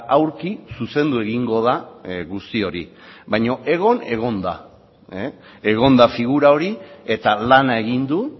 aurki zuzendu egingo da guzti hori baina egon egon da egon da figura hori eta lana egin du